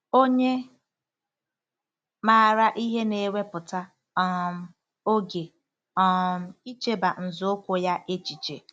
Onye maara ihe na-ewepụta um oge um ‘icheba nzọụkwụ ya echiche. '